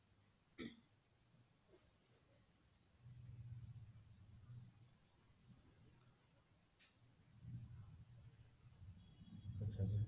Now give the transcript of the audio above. ଆଚ୍ଛା ଆଚ୍ଛା